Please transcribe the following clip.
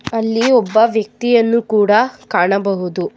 ಅಲ್ಲಿ ಒಬ್ಬ ವ್ಯಕ್ತಿಯನ್ನು ಕೂಡ ಕಾಣಬಹುದು.